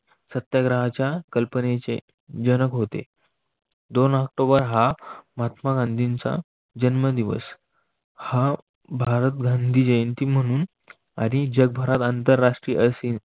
सत्याग्रहाच्या कल्पनेचे जनक होते. दोन ऑक्टोबर हा महात्मा गांधींचा जन्मदिवस, हा भारत गांधी जयंती म्हणून आणि जगभरात आंतरराष्ट्रीय असेल.